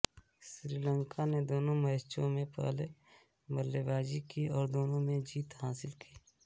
श्रीलंका ने दोनों मैचों में पहले बल्लेबाजी की और दोनों में जीत हासिल की